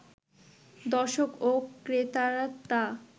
দর্শক ও ক্রেতারা তা